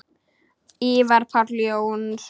Ívar Páll Jónsson